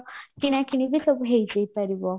କିଣା କିଣି ବି ସବୁ ହେଇଯାଇପାରିବା